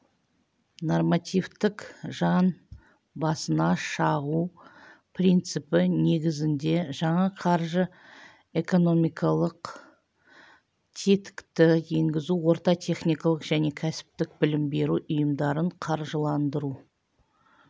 нормативтік жан басына шағу принципі негізінде жаңа қаржы-экономикалық тетікті енгізу орта техникалық және кәсіптік білім беру ұйымдарын қаржыландыру